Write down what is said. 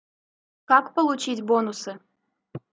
как получить бонусы